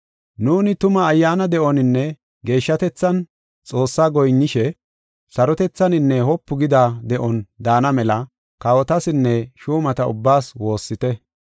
Nuuni tuma ayyaana de7oninne geeshshatethan Xoossaa goyinnishe sarotethaninne wopu gida de7on daana mela kawotasinne shuumata ubbaas woossite.